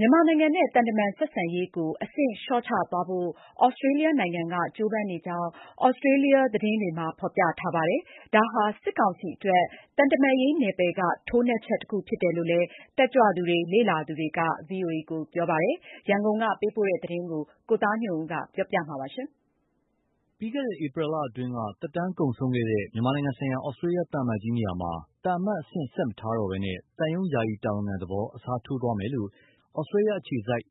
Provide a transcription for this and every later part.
မြန်မာနိုင်ငံနဲ့ သံတမန်ဆက်ဆံရေးကို အဆင့်လျော့ချသွားဖို့ ဩစတြေးလျနိုင်ငံက ကြိုးပမ်းနေတယ်လို့ ဩစတြေးလျသတင်းတွေမှာ ဖော်ပြပါတယ်။ ဒါဟာ စစ်ကောင်စီအတွက် သံတမန်ရေးနယ်ပယ်က ထိုးနှက်ချက်တခုဖြစ်တယ်လို့ တက်ကြွသူတွေ လေ့လာသူတွေက ပြောကြပါတယ်။ ရန်ကုန်က ပေးပို့တဲ့သတင်း ကိုသားညွန့်ဦးက တင်ပြပေးထားပါတယ်။ ပြီးခဲ့တဲ့ ဧပြီလအတွင်းက သက်တမ်းကုန်ဆုံးခဲ့တဲ့ မြန်မာနိုင်ငံဆိုင်ရာ ဩစတြေးလျသံအမတ်ကြီးနေရာမှာ သံအမတ်အဆင့် ဆက်မထားတော့ဘဲ သံရုံးယာယီတာဝန်ခံသဘောပဲ အစားထိုးသွားမယ်လို့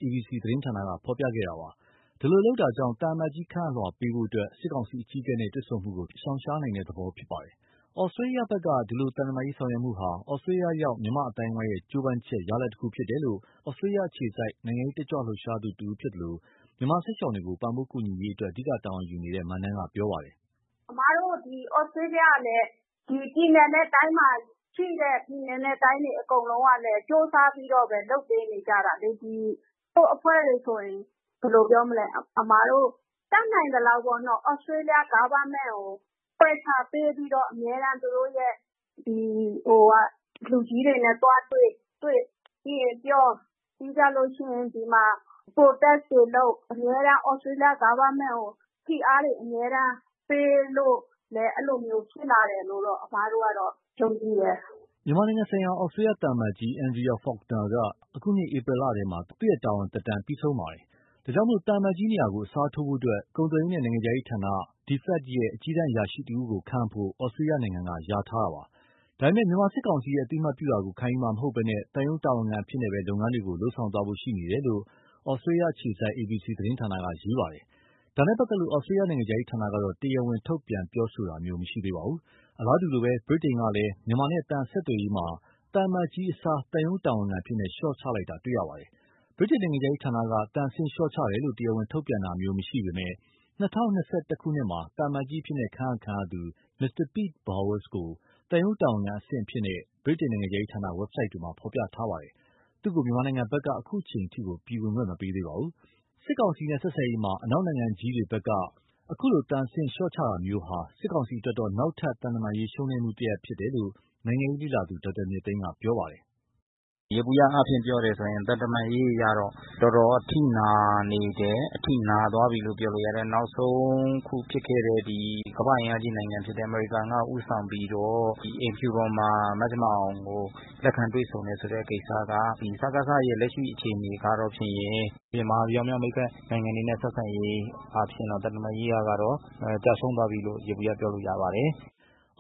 ABC သတင်းဌာနက ဖော်ပြခဲ့ပါတယ်။ ဒီလို လုပ်ခြင်းကြောင့် သံအမတ်ကြီးခန့်အပ်လွှာပေးဖို့ စစ်ကောင်စီအကြီးအကဲနဲ့တွေ့ဆုံမှုကို ရှောင်တဲ့သဘောပါ။ ဩစတြေးလျဘက်က ဒီလို သံတမန်ရေးဆောင်ရွက်မှုဟာ ဩစတြေးလျရောက် မြန်မာအသိုင်းအဝိုင်းကြိုးပမ်းချက် ရလဒ်တခုဖြစ်တယ်လို့ ဩစတြေးလျရောက် နိုင်ငံရေးတက်ကြွ လှုပ်ရှားသူတဦးဖြစ်သလို မြန်မာစစ်ရှောင်တွေကို ပံ့ပိုးကူညီရေးအတွက် အဓိက တာဝန်ယူထားတဲ့ မနန်းကပြောပါတယ်။ "အမတို့ ဩစတြေးလျကလည်း ဒီပြည်နယ်နဲ့တိုင်းတွေ အကုန်လုံးကလည်း ကြိုးစားပြီးတော့ လုပ်ပေးနေကြတာလေ။ တချို့အဖွဲ့တွေဆိုရင် တတ်နိုင်သလောက် ဩစတြေးလျ government ကို pressure ပေးပြီးတော့ အမြဲတမ်း သူတို့ရဲ့လူကြီးတွေနဲ့သွားတွေ့ပြီးရင် ပြောပြီးရင် protest တွေလုပ်၊ အမြဲတမ်း ဩစတြေးလျ government ကို ဖိအားတွေအမြဲပေးလို့လည်း အဲလိုဖြစ်လာတာလို့ အမတို့ကတော့ ယုံကြည်တယ်။" မြန်မာနိုင်ငံဆိုင်ရာ ဩစတြေးလျသံအမတ်ကြီး Andrea Faulkner က အခုနှစ် ဧပြီလထဲမှာ သူ့ရဲ့တာဝန်သက်တမ်း ပြီးဆုံးခဲ့ပါတယ်။ ဒါကြောင့် သံအမတ်ကြီးနေရာကို အစားထိုးဖို့ ကုန်သွယ်ရေးနဲ့ နိုင်ငံခြားရေးရာဌာန DFAT ရဲ့ အကြီးတန်း အရာရှိတဦးကို ခန့်အပ်ဖို့ ဩစတြေးလျနိုင်ငံက လျာထားတာပါ။ ဒါပေမယ့် မြန်မာစစ်ကောင်စီရဲ့ အသိအမှတ်ပြုတာကို ခံယူမှာမဟုတ်ဘဲ သံရုံးတာဝန်ခံအဖြစ်နဲ့ပဲ လုပ်ငန်းတွေကို လုပ်ဆောင်သွားဖို့ရှိနေတယ်လို့ ဩစတြေးလျအခြေစိုက် ABC သတင်းဌာနက ရေးသားပါတယ်။ ဒါနဲ့ပတ်သက်လို့ ဩစတေးလျနိုင်ငံခြားရေးဌာနကတော့ တရားဝင် ထုတ်ပြန်ပြောဆိုတာမျိုးမရှိသေးပါဘူး။ အလားတူလိုပဲ ဗြိတိန်ကလည်း မြန်မာနဲ့သံအဆက်အသွယ်မှာ သံအမတ်ကြီးအစား သံရုံးတာဝန်ခံအဖြစ် လျှော့ချလိုက်တာတွေ့ရပါတယ်။ ဗြိတိန်နိုင်ငံခြားရေးဌာနက သံအဆင့် လျှော့ချတယ်လို့ တရားဝင်ထုတ်ပြန်တာမျိုးမရှိပေမယ့် ၂၀၂၁ ခုနှစ်မှာ သံအမတ်ကြီးအဖြစ် ခန့်အပ်ခံရသူ Mr Pete Vowles ကို သံရုံးတာဝန်ခံအဆင့်အဖြစ်နဲ့ ဗြိတိန်နိုင်ငံခြားရေးဌာနဝက်ဆိုဒ်တွေမှာ ဖော်ပြထားပါတယ်။ သူ့ကို မြန်မာဘက်က အခုအချိန် ပြည်ဝင်ခွင့်မပေးသေးပါဘူး။ စစ်ကောင်စီနဲ့ဆက်ဆံရေးမှာ အနောက်နိုင်ငံကြီးတွေက အခုလို သံအဆင့်လျှော့ချတာမျိုးဟာ စစ်ကောင်စီအတွက်တော့ နောက်ထပ် သံတမန်ရေးရှုံးနိမ့်မှုတခုဖြစ်တယ်လို့ နိုင်ငံရေးလေ့လာသူ ဒေါက်တာမြင့်သိန်းက ပြောပါတယ်။ "ယေဘုယျအားဖြင့် ပြောရရင် သံမတမန်ရေးအရ တော်တော်အထိနာသွားပြီလို့ ပြောလို့ ရတယ်။ နောက်ဆုံးဖြစ်ခဲ့တဲ့ ကမ္ဘာ့အင်အားကြီး အမေရိကန်ကဦးဆောင်ပြီးတော့ အိမ်ဖြူတော်မှာ မဇင်မာအောင်ကို လက်ခံတွေ့ဆုံတယ်ဆိုတဲ့ကိစ္စက စကစရဲ့ လက်ရှိအခြေအနေကတော့ဖြင့် မဟာဗျူဟာမြောက် မိတ်ဖက်နိုင်ငံတွေနဲ့ဆက်ဆံရေးအားဖြင့်တော့ သံတမန်ရေးအရ ကျရှုံးသွားပြီလို့ ယေဘုယျ ပြောလို့ရပါတယ်။"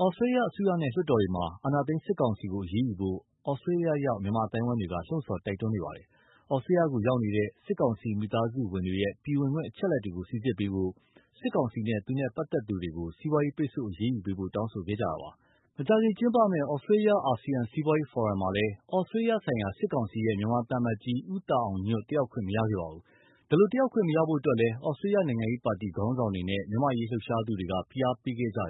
ဩစတြေးလျအစိုးရနဲ့ လွှတ်တော်တွေမှာ အာဏာသိမ်း စစ်ကောင်စီကို အရေးယူဖို့ ဩစတြေးလျရောက် မြန်မာအသိုင်းအဝိုင်းတွေက လှုံ့ဆော်တိုက်တွန်းနေပါတယ်။ ဩစတြေးလျ ကိုရောက်နေတဲ့ စစ်ကောင်စီမိသားစုဝင်တွေရဲ့ ပြည်ဝင်ခွင့်အချက်အလက်တွေကို စိစစ်ပေးဖို့၊ စစ်ကောင်စီနဲ့ သူနဲ့ပတ်သက်သူတွေကို စီးပွားရေးပိတ်ဆို့ အရေးယူပေးဖို့ တောင်းဆိုခဲ့ကြပါတယ်။ မကြာခင်ကျင်းပမဲ့ ဩစတြေးလျ- အာဆီယံ စီးပွားရေးဖိုရမ်မှာလည်း ဩစသြေးလျဆိုင်ရာ စစ်ကောင်စီရဲ့ မြန်မာသံအမတ် ဦးသာအောင်ညွန့် တက်ရောက်ခွင့် မရခဲ့ပါဘူး။ ဒီလို တက်ရောက်ခွင့်မရဖို့အတွက်လည်း ဩစတြေးလျနိုင်ငံရေးပါတီ ခေါင်းဆောင်တွေနဲ့ မြန်မာ့အရေးလှုပ်ရှားသူတွေက ဖိအားပေးခဲ့ကြတ